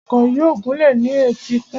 Ọkọ̀ yóò gúnlẹ̀ ní etíkun.